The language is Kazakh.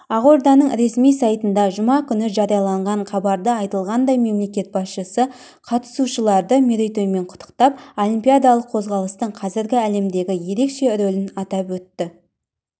ақорданың ресми сайтында жұма күні жарияланған хабарда айтылғандай мемлекет басшысы қатысушыларды мерейтоймен құттықтап олимпиадалық қозғалыстың қазіргі әлемдегі ерекше рөлін атап өтті